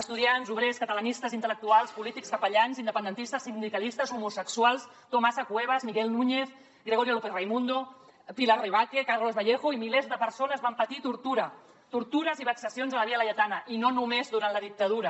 estudiants obrers catalanistes intel·lectuals polítics capellans independentistes sindicalistes homosexuals tomasa cuevas miguel núñez gregorio lópez raimundo pilar rebaque carles vallejo i milers de persones van patir tortura tortures i vexacions a la via laietana i no només durant la dictadura